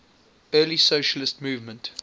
early socialist movement